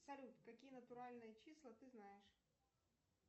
салют какие натуральные числа ты знаешь